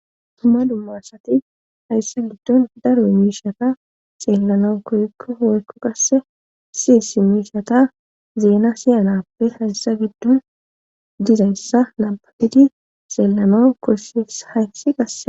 duma duma asati hayssa giddon daro miishata xeellana koykko hoykko qasse si si miishata zeena siyanappe hayssa giddon dizayssa nababidi xeellana kossis haysi qase.